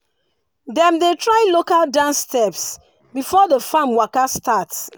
dem dey try local dance steps before the farm waka start.